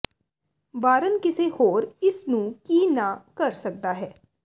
ਵਾਰਨ ਕਿਸੇ ਹੋਰ ਇਸ ਨੂੰ ਕੀ ਨਾ ਕਰ ਸਕਦਾ ਹੈ